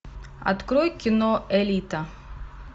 открой кино элита